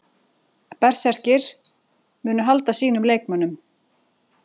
Berserkir: Munu halda sínum leikmönnum.